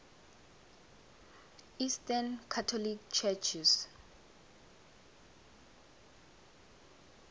eastern catholic churches